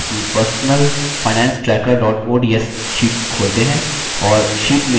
अपनी personal finance tracker ods sheet खोलते हैं